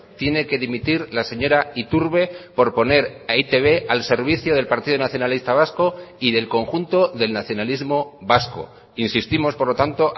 tiene que dimitir la señora iturbe por poner a e i te be al servicio del partido nacionalista vasco y del conjunto del nacionalismo vasco insistimos por lo tanto